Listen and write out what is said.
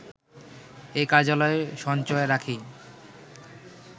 এ কার্যালয় সঞ্চয় রাখি